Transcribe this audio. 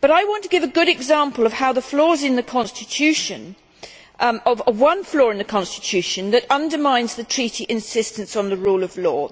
But I want to give a good example of one flaw in the constitution that undermines the Treaty's insistence on the rule of law.